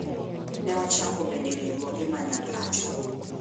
Ne ochako bende riwruoge ma nya pacho.